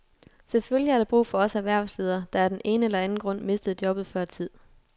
Selvfølgelig er der brug for os erhvervsledere, der af den ene eller anden grund mistede jobbet før tid.